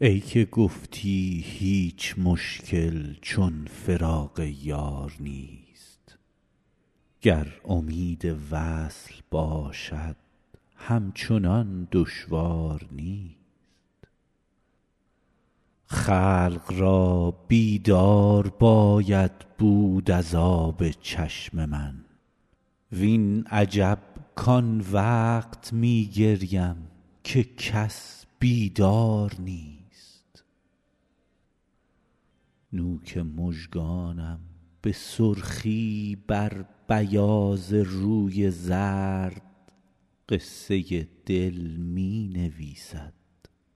ای که گفتی هیچ مشکل چون فراق یار نیست گر امید وصل باشد همچنان دشوار نیست خلق را بیدار باید بود از آب چشم من وین عجب کان وقت می گریم که کس بیدار نیست نوک مژگانم به سرخی بر بیاض روی زرد قصه دل می نویسد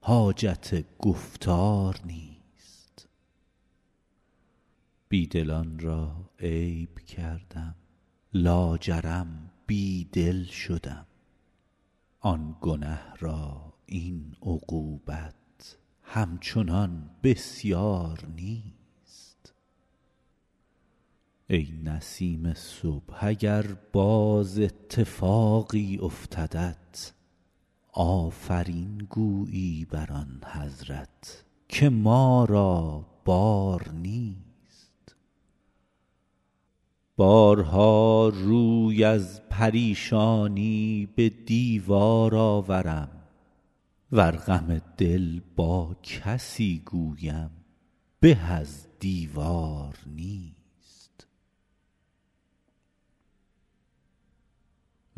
حاجت گفتار نیست بی دلان را عیب کردم لاجرم بی دل شدم آن گنه را این عقوبت همچنان بسیار نیست ای نسیم صبح اگر باز اتفاقی افتدت آفرین گویی بر آن حضرت که ما را بار نیست بارها روی از پریشانی به دیوار آورم ور غم دل با کسی گویم به از دیوار نیست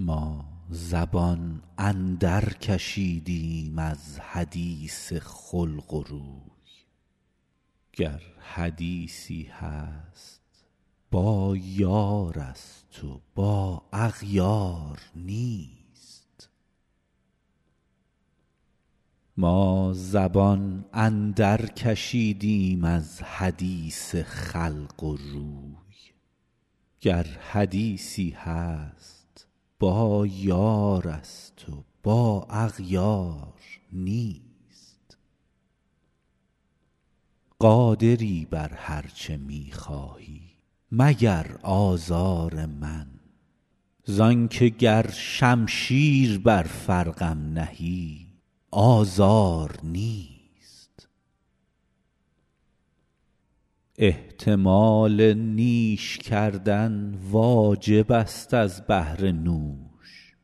ما زبان اندرکشیدیم از حدیث خلق و روی گر حدیثی هست با یارست و با اغیار نیست قادری بر هر چه می خواهی مگر آزار من زان که گر شمشیر بر فرقم نهی آزار نیست احتمال نیش کردن واجبست از بهر نوش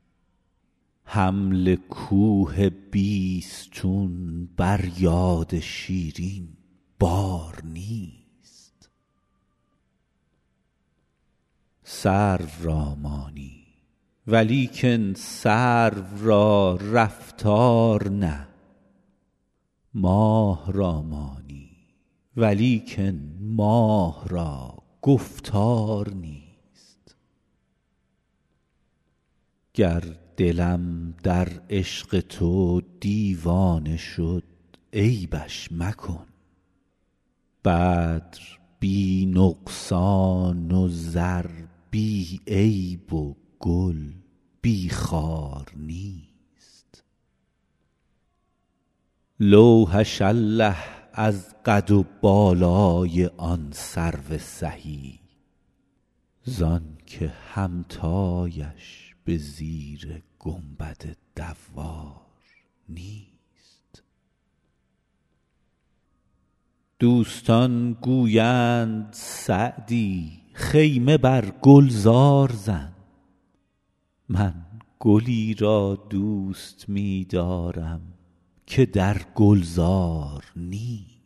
حمل کوه بیستون بر یاد شیرین بار نیست سرو را مانی ولیکن سرو را رفتار نه ماه را مانی ولیکن ماه را گفتار نیست گر دلم در عشق تو دیوانه شد عیبش مکن بدر بی نقصان و زر بی عیب و گل بی خار نیست لوحش الله از قد و بالای آن سرو سهی زان که همتایش به زیر گنبد دوار نیست دوستان گویند سعدی خیمه بر گلزار زن من گلی را دوست می دارم که در گلزار نیست